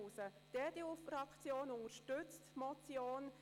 Die EDU-Fraktion unterstützt die Motion.